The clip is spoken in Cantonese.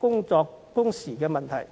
出工時的問題。